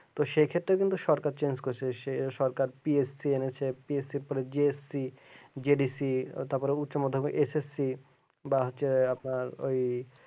সে ক্ষেত্রে কিন্তু সরকার চেঞ্জ করেছে। সে সরকার পি এইচ জিএসসি জেডিসি তারপরে উচ্চ মাধ্যমিক এসএসসি বা হচ্ছে আপনার ওই